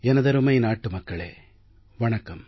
எனதருமை நாட்டு மக்களே வணக்கம்